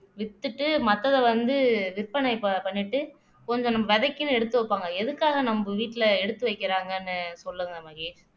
வித்துட்டு மத்தத வந்து விற்பனை பண்ணிட்டு கொஞ்சம் நம்ம விதைக்குன்னு எடுத்து வைப்பாங்க எதுக்காக நம்ம வீட்டுல எடுத்து வைக்கிறாங்கன்னு சொல்லுங்க மகேஷ்